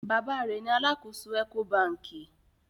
Baba rẹ ní àlàkọ̀só Ecobankì.